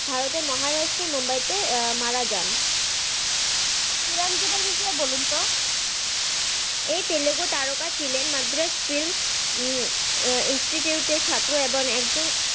ভারতের মহারাষ্ট্রের মুম্বাই তে মারা যান।